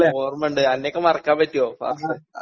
ഓർമ്മണ്ട് അന്നെക്കെ മറക്കാൻ പറ്റോ പാറസ്സേ.